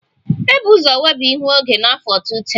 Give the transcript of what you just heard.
E bu ụzọ weba ihu oge n'afọ 2010